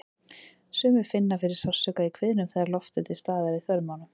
Sumir finna fyrir sársauka í kviðnum þegar loft er til staðar í þörmunum.